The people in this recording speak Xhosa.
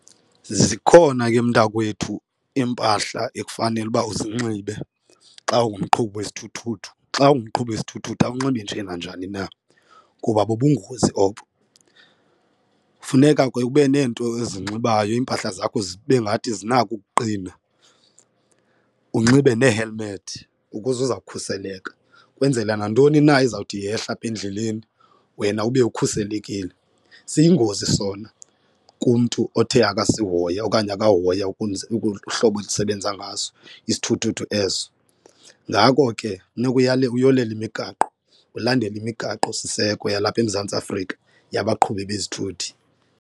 Zikhona ke mntakwethu iimpahla ekufanele uba uzinxibe xa ungumqhubi wesithuthuthu xa ungumqhubi wesithuthuthu awunxibi nje nanjani na kuba bubungozi obo. Funeka ke ube neento ozinxibayo iimpahla zakho zibe ngathi zinako ukuqina unxibe nee-helmet ukuze uza kukhuseleka kwenzela nantoni na ezawuthi yehle apha endleleni wena ube ukhuselekile. Siyingozi sona kumntu othe akasihoya okanye akahoya ukuze uhlobo esisebenza ngaso isithuthuthu eso, ngako ke funeka uyolele imigaqo ulandele imigaqosiseko yalapha eMzantsi Afrika yabaqhubi bezithuthi.